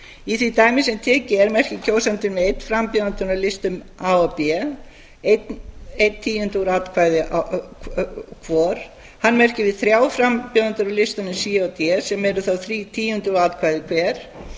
í því dæmi sem tekið er merkir kjósandinn við einn frambjóðanda á listum a og b einn tíunda úr atkvæði hvor hann merkir við þrjár frambjóðendur á listunum c og d sem eru þá þrír tíundu úr atkvæði hver